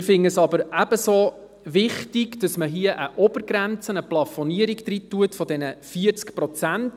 Wir finden es aber ebenso wichtig, dass man eine Obergrenze, eine Plafonierung, bei 40 Prozent festlegt.